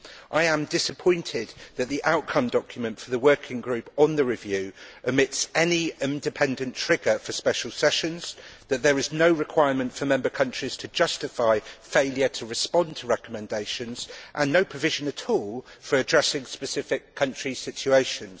I am disappointed that the outcome document for the working group on the review omits any independent trigger for special sessions, that there is no requirement for member countries to justify failure to respond to recommendations, and that there is no provision at all for addressing specific country situations.